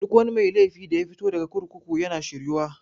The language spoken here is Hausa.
Duk mai laifi daya fito daga kurkuku yana shir yuwa.